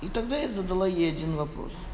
тогда я задала ей один вопрос